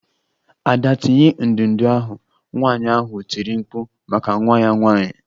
Ada tinye ndụdụ ahụ! Nwanyị ahụ tiri mkpu maka nwa ya nwanyị.